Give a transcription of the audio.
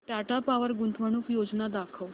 Tata power गुंतवणूक योजना दाखव